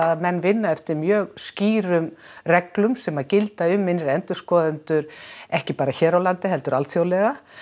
að menn vinna eftir mjög skýrum reglum sem að gilda um innri endurskoðendur ekki bara hér á landi heldur alþjóðlega